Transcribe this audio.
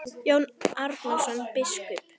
Jón Arason biskup